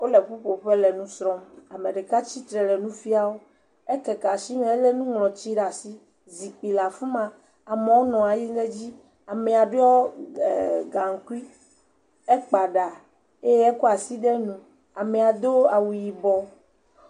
Wole ƒoƒuƒe le nu srɔ̃m ame ɖeka tsitre le nu fiam wo ekeke asi me elé nuŋlɔti ɖe asi, zikpui le afi ma amewo nɔ anyi ɖe edzi, amea ɖɔ g..eeee….gaŋkui, ekpa ɖa eye wokɔ asi ɖo nu, amea do awu yibɔ.